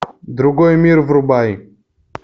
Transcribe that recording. другой мир врубай